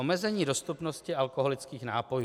Omezení dostupnosti alkoholických nápojů.